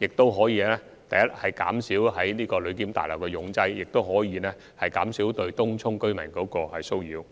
這樣既可減少旅檢大樓的擠擁情況，亦可減少對東涌居民的騷擾。